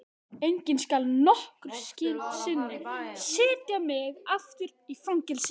Enginn skal nokkru sinni setja mig aftur í fangelsi.